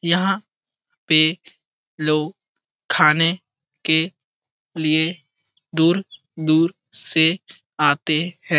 यहाँ पे लोग खाने के लिए दूर दूर से आते है ।